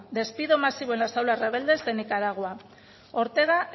despido masivo en las aulas rebeldes de nicaragua ortega